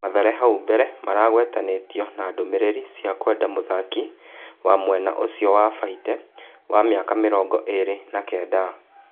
Mathare hau mbere maragwetanĩ tio na ndũmĩ rĩ ri cia kwenda mũthaki wa mwena ũcio wa Baite, wa mĩ aka mĩ rongo ĩ rĩ na kenda.